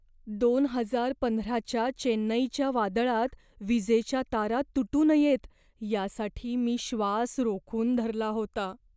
दोन हजार पंधराच्या चेन्नईच्या वादळात विजेच्या तारा तुटू नयेत यासाठी मी श्वास रोखून धरला होता.